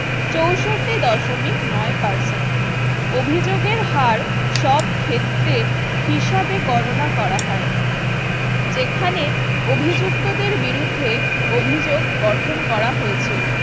চৌষট্টি দশমিক নয় Percent অভিযোগের হাড় সব ক্ষেত্রে হিসাবে গণনা করা হয়। যেখানে অভিযুক্তদের বিরুদ্ধে অভিযোগ গঠন করা হয়েছিল